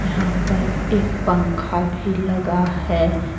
यहाँ पर एक पंखा भी लगा है।